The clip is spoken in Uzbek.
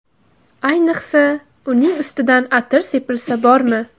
Ayniqsa, uning ustidan atir sepilsa bormi?